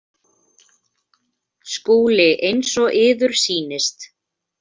SKÚLI: Eins og yður sýnist.